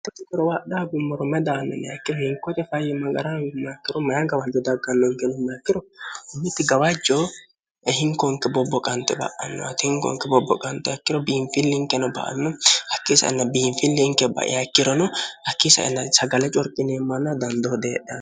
hoi gorowaadhaa gummoro medaanna nayaikkiro hinkote fayyi magarahamimma akkiro maya gawajjo daggannonke nomma akkiro ubbiti gawajco hinkoonke bobbo qante ba'anno ati hingonke bobbo qante akkiro biinfillinkeno ba anno akkiisa inna biinfillinke ba'ya ikkirono hakkiisa inna sagale corxineemmanna dandoo deedha